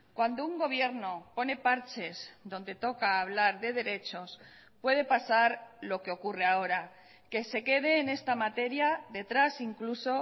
cuando un gobierno pone parches donde toca hablar de derechos puede pasar lo que ocurre ahora que se quede en esta materia detrás incluso